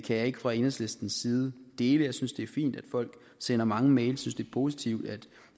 kan jeg ikke fra enhedslistens side dele jeg synes det er fint at folk sender mange mails det positivt at